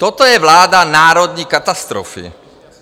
Toto je vláda národní katastrofy.